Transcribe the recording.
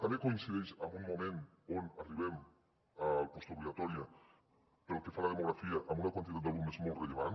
també coincideix amb un moment on arribem a la postobligatòria pel que fa a la demografia amb una quantitat d’alumnes molt rellevant